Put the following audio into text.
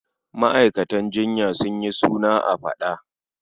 Ma'aikatan jinya sun yi suna a faɗa.